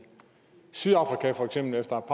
sydafrika efter